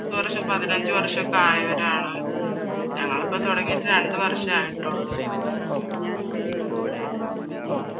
എത്ര വര്ഷം പതിനഞ്ച് വർഷം ഒക്കെ ആയവർ ആണ് ഞങ്ങൾ ഇപ്പൊ തുടങ്ങിയിട്ട് രണ്ട് വർഷേ ആയിട്ടുള്ളു